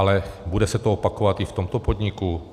Ale bude se to opakovat i v tomto podniku?